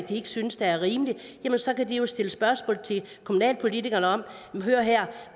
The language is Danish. ikke synes er rimeligt så kan stille spørgsmål til kommunalpolitikerne om